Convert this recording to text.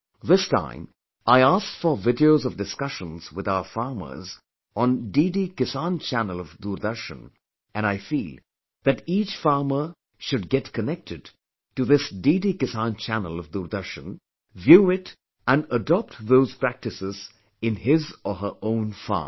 This time, I requisitioned and viewed videos of discussions with our farmers on DD Kisan Channel of Doordarshan and I feel that each farmer should get connected to this DD Kisan Channel of Doordarshan, view it and adopt those practices in his/ her own farm